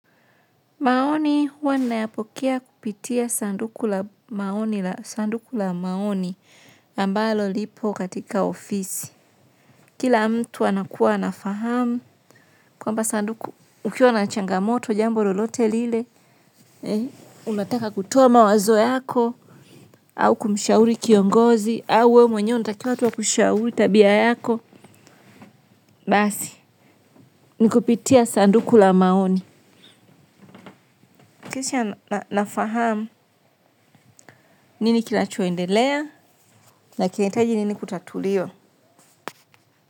Maoni huwa ni nayapokea kupitia sanduku la maoni la sanduku la maoni ambalo lipo katika ofisi. Kila mtu anakuwa anafahamu kwamba sanduku ukiwa na changamoto jambo lolote lile unataka kutoa mawazo yako. Au kumshauri kiongozi au we mwenye unatakiwa tu akushauri tabia yako. Basi, ni kupitia sanduku la maoni. Kisha nafahamu nini kina cho endelea na kinahitaji nini kutatuliwa.